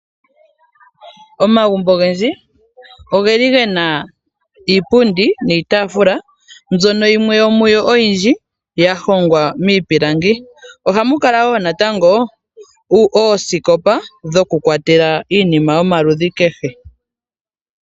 Omagumbo ogendji oge li ge na iipundi niitaafula mbyono yimwe yomuyo oyindji ya hongwa miipilangi. Ohamu kala wo natango oosikopa dhokukwatela iinima yomaludhi kehe.